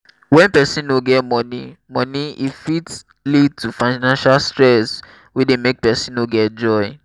when person no get money money e fit lead to financial stress wey dey make person no get joy